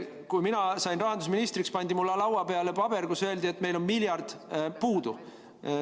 Kui mina sain rahandusministriks, pandi mulle laua peale paber, kus oli öeldud, et meil on miljard puudu.